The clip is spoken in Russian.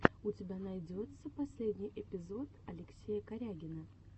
у тебя найдется последний эпизод алексея корягина